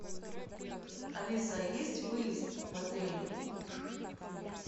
алиса есть выезд в отеле